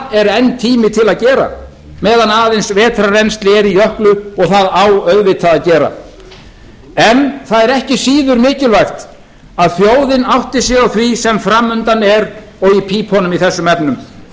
er enn tími til að gera meðan aðeins vetrarrennsli er í jöklu og það á auðvitað að gera en það er ekki síður mikilvægt að þann átti sig á því sem fram undan er og í pípunum í þessum efnum þrjú